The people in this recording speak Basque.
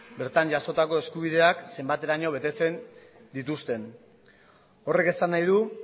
bertan jasotako eskubideak zenbateraino betetzen dituzten horrek esan nahi du